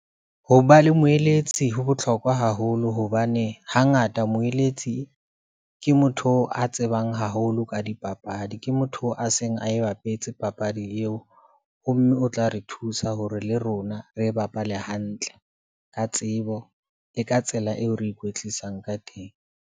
Ho ba le moeletsi ho bohlokwa haholo hobane hangata moeletsi ke motho a tsebang haholo ka dipapadi ke motho a seng a e bapetse papadi eo. Ho mme o tla re thusa hore le rona re bapale hantle ka tsebo le ka tsela eo re ikwetlisang ka teng.